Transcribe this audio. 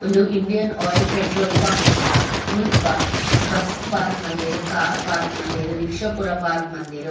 ಉಂದು Indian Oil petrol pump ಮುಲ್ಪ bus park ಮಂದೆರ್ ಕಾರ್ ಪಾರ್ಕ್ ಮಂದೆರ್ ರಿಕ್ಷ ಪೂರ ಪಾರ್ಕ್ ಮಂದೆರ್.